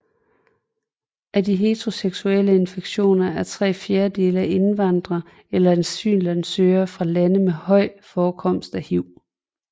Af de heteroseksuelle infektioner er tre fjerdedele af indvandrere eller asylansøgere fra lande med høj forekomst af hiv